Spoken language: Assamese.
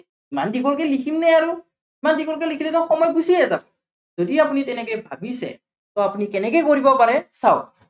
ইমান দীঘলকে লিখিম নে আৰু, ইমান দীঘলকে লিখিলে দেখোন সময় গুচিয়ে যাব, যদি আপুনি তেনেকে ভাবিছে, ত আপুনি কেনেকে কৰিব পাৰে, চাওক।